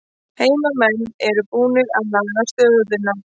Heimamenn eru búnir að laga stöðuna